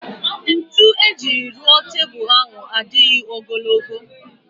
Ntu ejiri rụọ tebul ahụ adịghị ogologo